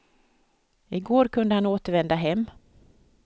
I går kunde han återvända hem.